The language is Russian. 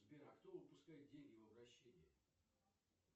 сбер а кто выпускает деньги в обращение